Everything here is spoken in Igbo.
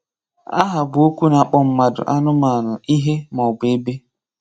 Áhá bụ́ okwu na-akpọ̀ mmádụ, ànụ́manụ, ihe, ma ọ bụ ebe.